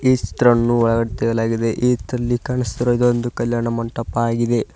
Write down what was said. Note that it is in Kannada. ಈ ಚಿತ್ರವನ್ನು ಒಳಗಡೆ ತೆಗೆಯಲಾಗಿದೆ ಈದ್ರಲ್ಲಿ ಕಾಣುಸ್ತಿರುವುದು ಒಂದು ಕಲ್ಯಾಣ ಮಂಟಪವಾಗಿದೆ.